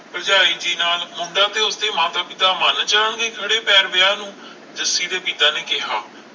ਭਰਜਾਈ ਕਿ ਨਾਮ! ਮੁੰਡਾ ਤੇ ਉਸਦੇ ਮਾਤਾ ਪਿਤਾ ਮਣ ਜਾਣ ਗਏ ਖੜੇ ਪੈਰ ਵਿਆਹ ਨੂੰ ਜੱਸੀ ਦੇ ਪਿਤਾ ਨੇ ਕਿਹਾ